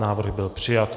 Návrh byl přijat.